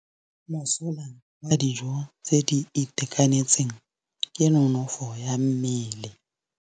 Mosola wa dijô tse di itekanetseng ke nonôfô ya mmele.